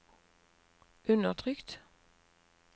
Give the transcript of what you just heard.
undertrykt